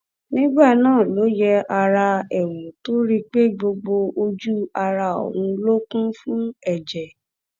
nígbà náà ló yẹ ara ẹ wò tó rí i pé gbogbo ojú ara òun ló kún fún ẹjẹ